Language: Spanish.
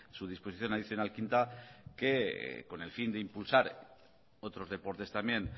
su disposición adicional quinta que con el fin de impulsar otros deportes también